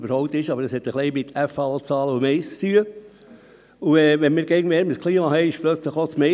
Werte Anwesende, ich könnte Ihnen Beispiele aufzählen, die zeigen, dass dies in keiner Gemeinde adäquat ist und es nicht stimmt.